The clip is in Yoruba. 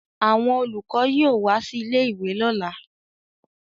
Àwọn olùkọ́ yóò wá sí ilé-ìwé lọ́la